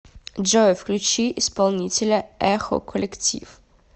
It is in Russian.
джой включи исполнителя эхо коллектив